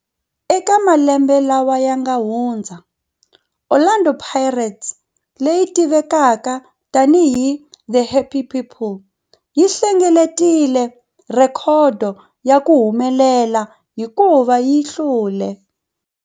Eka malembe lawa yanga hundza, Orlando Pirates, leyi tivekaka tani hi 'The Happy People', yi hlengeletile rhekhodo ya ku humelela hikuva yi hlule